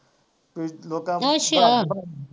ਅੱਛਾ